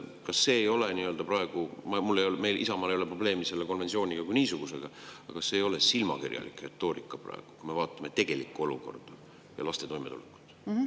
Kas see ei ole praegu silmakirjalik retoorika – meil, Isamaal ei ole probleemi selle konventsiooni kui niisugusega –, kui me vaatame tegelikku olukorda ja laste toimetulekut?